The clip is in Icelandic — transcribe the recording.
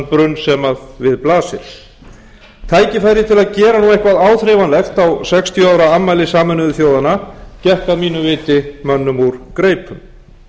brunn sem við blasir tækifæri til að gera nú eitthvað áþreifanlegt á sextíu ára afmælisameinuðu þjóðanna gekk að mínu viti mönnum úr greipum